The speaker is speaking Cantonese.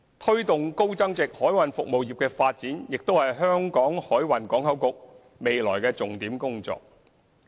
推動高增值海運服務業的發展亦是香港海運港口局未來的重點工作。